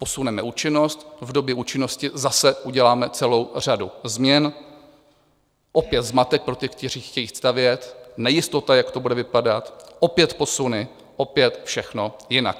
Posuneme účinnost, v době účinnosti zase uděláme celou řadu změn, opět zmatek pro ty, kteří chtějí stavět, nejistota, jak to bude vypadat, opět posuny, opět všechno jinak.